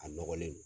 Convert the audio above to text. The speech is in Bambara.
A nɔgɔlen